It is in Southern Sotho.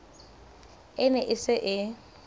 e ne e se e